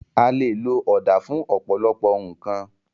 A lè lo ọ̀dà fún ọ̀pọ̀lọpọ̀ nǹkan